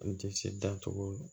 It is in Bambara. N tɛ se da cogo